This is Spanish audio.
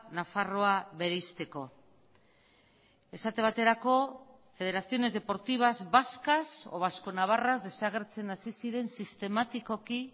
nafarroa bereizteko esate baterako federaciones deportivas vascas o vasco navarras desagertzen hasi ziren sistematikoki